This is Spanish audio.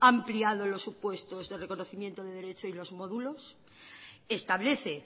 ha ampliado los supuestos de reconocimiento de derecho y los módulos establece